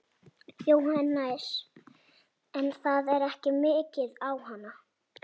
Jóhannes: En það er ekki migið á hann?